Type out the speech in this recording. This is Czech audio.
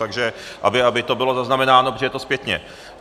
Takže aby to bylo zaznamenáno, protože je to zpětně.